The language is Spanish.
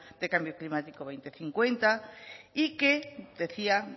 de cambio climático dos mil cincuenta y que decía